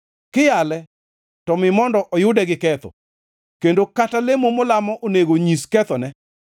Kiyale to mi mondo oyude gi ketho, kendo kata lemo molamo onego onyis kethone.